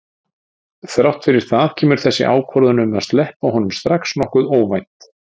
Þrátt fyrir það kemur þessi ákvörðun um að sleppa honum strax nokkuð óvænt.